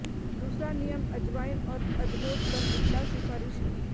दूसरा नियम अजवाइन और अजमोद पर दुबला सिफारिश की